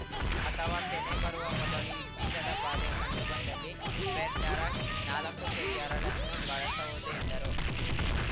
ಅಥವಾ ತೆನೆ ಬರುವ ಮೊದಲು ಈ ಕೀಟದ ಬಾಧೆ ಕಂಡುಬಂದಲ್ಲಿ ಫೆರ್‌ಟೇರಾನಾಲಕ್ಕು ಕೆಜಿ ಹರಳನ್ನು ಬಳಸಬಹುದು ಎಂದರು